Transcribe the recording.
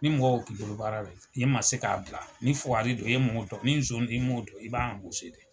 Ni mɔgɔ bi bolo baa la, e ma se ka bila, ni fukari don e m'o dɔ, ni nson don e m'o don i b'a dɛ.